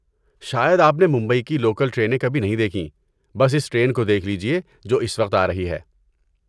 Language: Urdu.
شاید آپ نے ممبئی کی لوکل ٹرینیں کبھی نہیں دیکھیں، بس اس ٹرین کو دیکھ لیجیے جو اس وقت آ رہی ہے۔